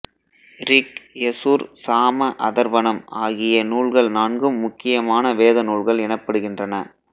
rig Yajur Sama Atharvanam ஆகிய நூல்கள் நான்கும் முக்கியமான வேத நூல்கள் எனப்படுகின்றன